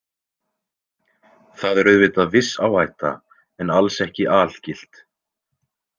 Það er auðvitað viss áhætta en alls ekki algilt